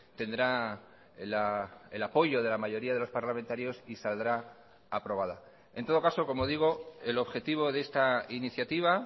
tendrá el apoyo de la mayoría de los parlamentarios y saldrá aprobada en todo caso como digo el objetivo de esta iniciativa